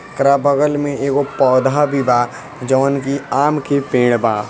ओकरा बगल में एगो पोधा भी बा जोवन की आम के पेड़ बा।